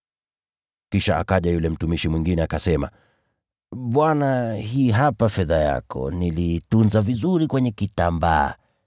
“Kisha akaja yule mtumishi mwingine, akasema, ‘Bwana, hii hapa fedha yako. Niliitunza vizuri kwenye kitambaa.